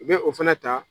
U bɛ o fɛnɛ ta